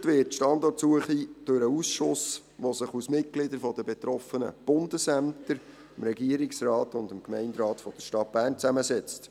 Gesteuert wird die Standortsuche durch den Ausschuss, der sich aus Mitgliedern der betroffenen Bundesämter, dem Regierungsrat und dem Gemeinderat der Stadt Bern zusammensetzt.